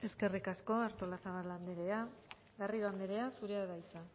eskerrik asko artolazabal andrea garrido andrea zurea da hitza